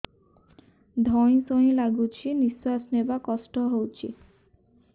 ଧଇଁ ସଇଁ ଲାଗୁଛି ନିଃଶ୍ୱାସ ନବା କଷ୍ଟ ହଉଚି